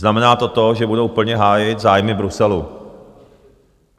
Znamená to to, že budou plně hájit zájmy Bruselu.